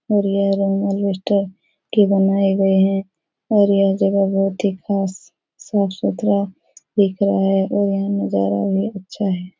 और यह room alabaster के बनाये गए हैं और ये जगह बहुत ही खास साफ सुथरा दिख रहा है और यहाँ नजारा भी अच्छा है।